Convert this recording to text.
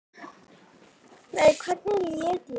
Nei, hvernig læt ég?